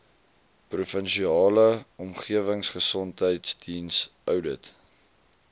provinsiale omgewingsgesondheidsdiens oudit